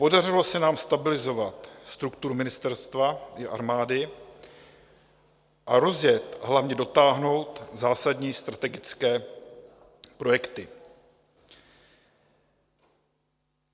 Podařilo se nám stabilizovat strukturu ministerstva i armády a rozjet, a hlavně dotáhnout zásadní strategické projekty.